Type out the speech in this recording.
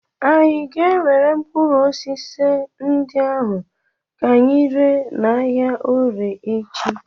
Anyị ga-ewere mkpụrụ osisi ndị ahụ ka anyị ree n'ahịa Orie echi.